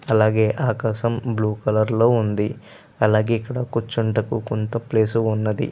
అలాగే ఆకాశం blue colour లో ఉంది. అలాగే ఇక్కడ కూర్చుంటకు కొంత ప్లేస్ ఉన్నది.